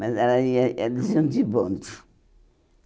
Mas elas ia eles iam de bonde.